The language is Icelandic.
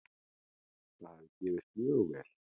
Það hafi gefist mjög vel.